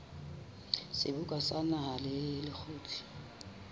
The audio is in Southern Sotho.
seboka sa naha le lekgotla